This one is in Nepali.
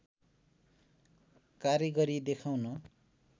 कारिगरी देखाउन